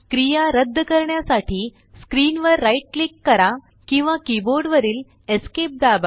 क्रिया रद्द करण्यासाठी स्क्रीन वर राइट क्लिक करा किंवा कीबोर्ड वरील Esc दाबा